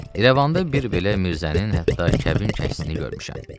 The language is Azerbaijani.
İrəvanda bir belə mirzənin hətta kəbin kəsdiyini görmüşəm.